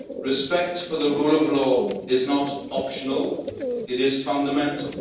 Respect for the rule of law is not optional it is fundamental.